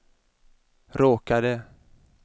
råkade